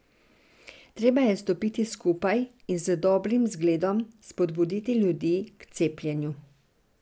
Treba je stopiti skupaj in z dobrim zgledom spodbuditi ljudi k cepljenju.